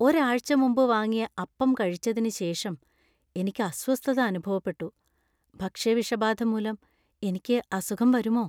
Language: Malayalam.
ഒരാഴ്ച മുമ്പ് വാങ്ങിയ അപ്പം കഴിച്ചതിന് ശേഷം എനിക്ക് അസ്വസ്ഥത അനുഭവപ്പെട്ടു, ഭക്ഷ്യവിഷബാധ മൂലം എനിക്ക് അസുഖം വരുമോ?